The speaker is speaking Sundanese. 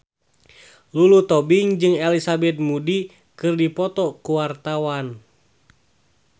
Lulu Tobing jeung Elizabeth Moody keur dipoto ku wartawan